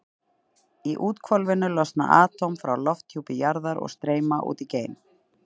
Í úthvolfinu losna atóm frá lofthjúpi jarðar og streyma út í geiminn.